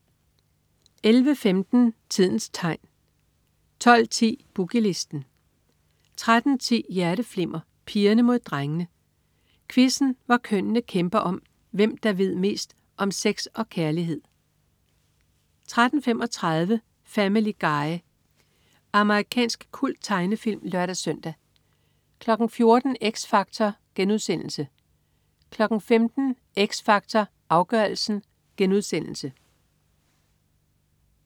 11.15 Tidens Tegn 12.10 Boogie Listen 13.10 Hjerteflimmer: Pigerne mod drengene. Quizzen hvor kønnene kæmper om, hvem der ved mest om sex og kærlighed 13.35 Family Guy. Amerikansk kulttegnefilm (lør-søn) 14.00 X Factor* 15.00 X Factor. Afgørelsen*